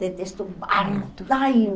Detesto barro. Ai